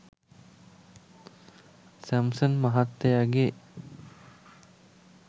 Samson මහත්තයගේ